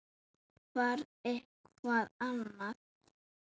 Þarf eitthvað annað?